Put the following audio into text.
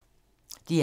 DR1